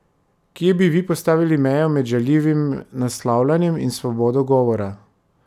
Kje bi vi postavili mejo med žaljivim naslavljanjem in svobodo govora?